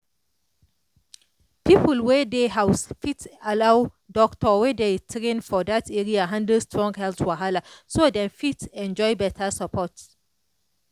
people wey dey house fit allow doctor wey dey train for that area handle strong health wahala so dem fit enjoy better support.